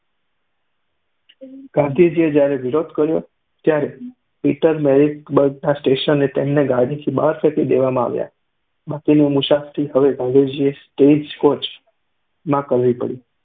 ગાંધીજીએ જ્યારે વિરોધ કર્યો ત્યારે પીટરમેરીટ્ઝબર્ગ સ્ટેશને તેમને ગાડીની બહાર ફેંકી દેવામાં આવ્યા. બાકીની મુસાફરી હવે ગાંધીજીએ સ્ટેઇજ કોચ માં કરવી પડી.